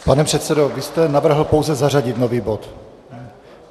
Pane předsedo, vy jste navrhl pouze zařadit nový bod?